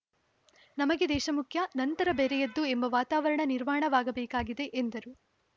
ನಮಗೆ ದೇಶ ಮುಖ್ಯ ನಂತರ ಬೇರೆಯದ್ದು ಎಂಬ ವಾತಾವರಣ ನಿರ್ಮಾಣವಾಗಬೇಕಿದೆ ಎಂದರು